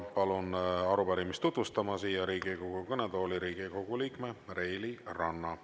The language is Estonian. Palun arupärimist tutvustama siia Riigikogu kõnetooli Riigikogu liikme Reili Ranna.